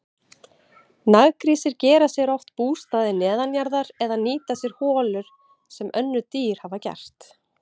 Naggrísir gera sér oft bústaði neðanjarðar eða nýta sér holur sem önnur dýr hafa gert.